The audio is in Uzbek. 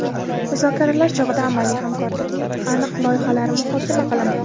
Muzokaralar chog‘ida amaliy hamkorlikning aniq loyihalari muhokama qilindi.